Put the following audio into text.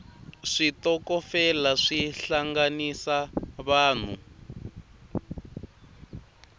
switokofela swi hlanganisa vanhu